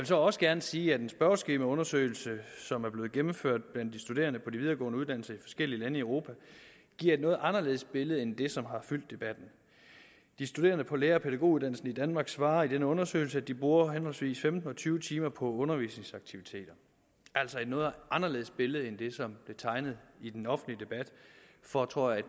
så også gerne sige at en spørgeskemaundersøgelse som er blevet gennemført blandt de studerende på de videregående uddannelser i forskellige lande i europa giver et noget anderledes billede end det som har fyldt debatten de studerende på lærer og pædagoguddannelserne i danmark svarer i denne undersøgelse at de bruger henholdsvis femten og tyve timer på undervisningsaktiviteter altså et noget anderledes billede end det som blev tegnet i den offentlige debat for tror jeg